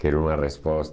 Quero uma resposta.